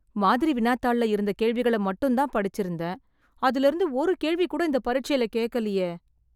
மாதிரி வினாத்தாள்ள இருந்த கேள்விகள மட்டும்தான் படிச்சிருந்தேன்... அதுலயிருந்து ஒரு கேள்வி கூட இந்த பரிட்சைல கேக்கலியே...